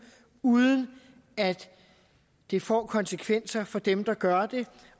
uden at det får konsekvenser for dem der gør det